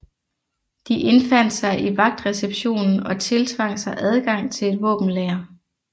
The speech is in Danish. De indfandt sig i vagtreceptionen og tiltvang sig adgang til et våbenlager